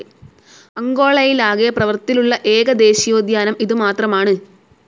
അങ്കോളയിലാകെ പ്രവർത്തിലുള്ള ഏക ദേശീയോദ്യാനം ഇതു മാത്രമാണ്.